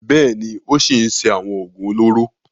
Bẹ́ẹ̀ ni, ó ṣì ń ṣe àwọn òògùn olóró.